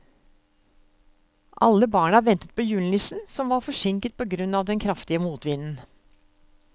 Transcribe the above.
Alle barna ventet på julenissen, som var forsinket på grunn av den kraftige motvinden.